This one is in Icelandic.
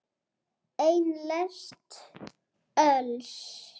Eina lest öls.